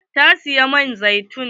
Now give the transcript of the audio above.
Ta siyi man zaitun.